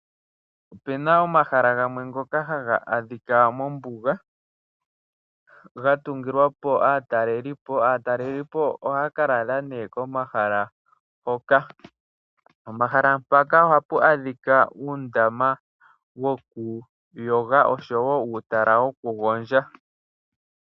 Ope na omahala gamwe ngoka haga adhika mombuga, ga tungilwa po aatalelipo, aatelelipo ohaya ka lala nee komahala hoka. Omahala mpaka ohapu adhika uundama wokuyoga osho wo uutala wokugondja.